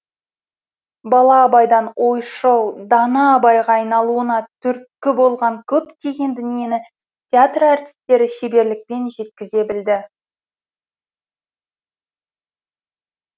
бала абайдан ойшыл дана абайға айналуына түрткі болған көптеген дүниені театр әртістері шеберлікпен жеткізе білді